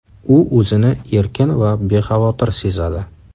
U o‘zini erkin va bexavotir sezadi.